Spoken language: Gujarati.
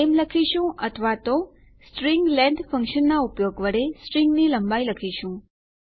નામે લખીશું અથવા તો string લેંગ્થ ફંક્શનનાં ઉપયોગ વડે સ્ટ્રીંગની લંબાઈ લખીશું